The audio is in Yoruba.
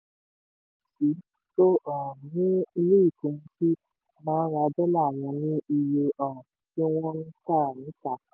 kíyè um sí: tó um ni ilé ìkóhunsí máa ń ra dọ́là wọn ní iye um tí wọ́n ń tà á níta.